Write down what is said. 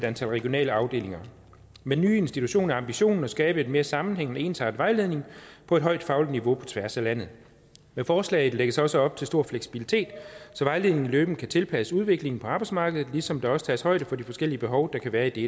antal regionale afdelinger med den nye institution er ambitionen at skabe en mere sammenhængende og ensartet vejledning på et højt fagligt niveau på tværs af landet med forslaget lægges der også op til stor fleksibilitet så vejledningen løbende kan tilpasses udviklingen på arbejdsmarkedet ligesom der også tages højde for de forskellige behov der kan være i de